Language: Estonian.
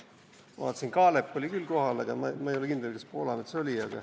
Ma vaatasin, Kaalep oli küll kohal, aga ma ei ole kindel, kas Poolamets oli.